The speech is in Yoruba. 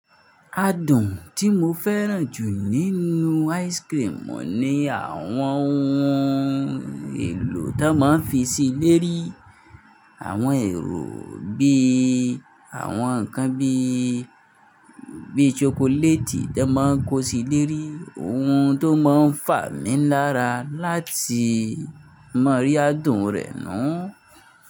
Adùn tí mo fẹ́ràn jù nínú ice cream oun ní àwọn ohun èlò tó máa ń fi síi lérí, àwọn èrò bíi àwọn ǹkan bíi, bíi chocolate tó máa ń kó sí lérí. Ohun tó máa ń fà mí lára láti ma rí adùn rẹ̀ náà.